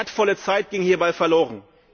Wertvolle Zeit ging hierbei verloren.